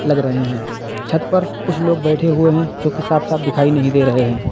लग रहे है छत पर कुछ लोग बैठे हुए हैं जोकि साफ साफ दिखाई नहीं दे रहे हैं।